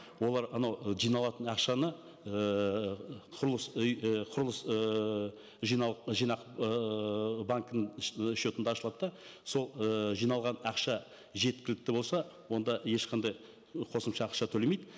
олар анау жиналатын ақшаны ыыы құрылыс үй і құрылыс ііі жинау жинақ ыыы банкінің шотында ашылады да сол ыыы жиналған ақша жеткілікті болса онда ешқандай қосымша ақша төлемейді